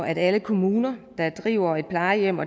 at alle kommuner der driver et plejehjem